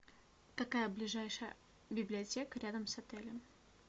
какая ближайшая библиотека рядом с отелем